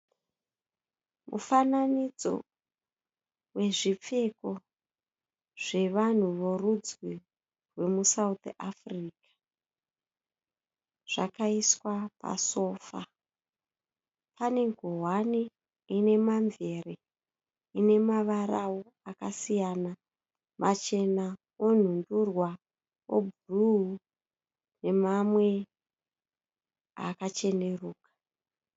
Mufananidzo wezvipfeko zvevanhu vorudzi vomuSouth Africa zvakaiswa pasofa. Pane ngowani ine mamvere ine mavarao akasiyana machena, onhundurwa, obhuruu nemamwe akacheneruka.